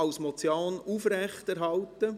: als Motion aufrechterhalten.